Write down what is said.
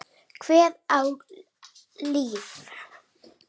Hver er á lífi?